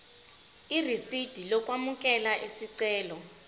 irisidi lokwamukela isicelo